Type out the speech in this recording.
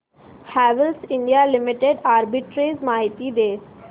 Havells India limited arbitrage माहिती दे